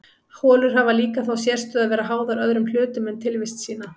holur hafa líka þá sérstöðu að vera háðar öðrum hlutum um tilvist sína